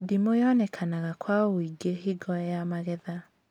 Ndimũ yonekanaga kwa wũingĩ hingo ya magetha